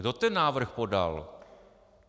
Kdo ten návrh podal?